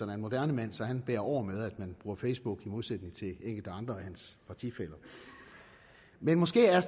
en moderne mand så han bærer over med at man bruger facebook i modsætning til enkelte andre af hans partifæller men måske er